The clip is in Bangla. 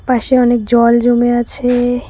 পাশে অনেক জল জমে আছে।